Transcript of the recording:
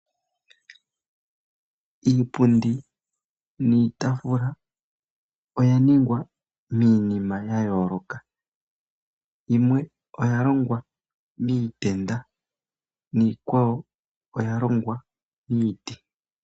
Iipundi niitaafula oya ningwa miinima ya yooloka. Yimwe oya longwa miitenda niikwawo oya longwa miiti.